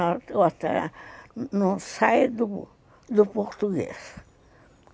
Eu até não saio do do português.